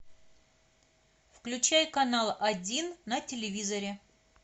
включай канал один на телевизоре